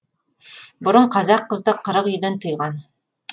бұрын қазақ қызды қырық үйден тыйған